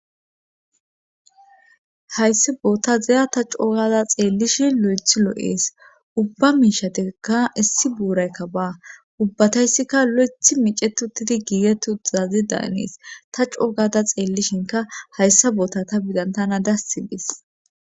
hayssi bootaza ta coogada xeellishi lo7ethi loo7ees ubba miisha deka issi buuraykka ba ubbatayssikka lo7eth micetuttidi giiget uazazi daanees ta coogada xeellishinka hayssa boota ta bidan tana dassi dees